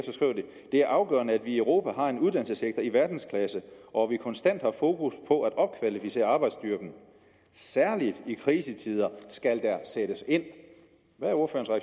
er afgørende at vi i europa har en uddannelsessektor i verdensklasse og at vi konstant har fokus på at opkvalificere arbejdsstyrken særligt i krisetider skal der sættes ind hvad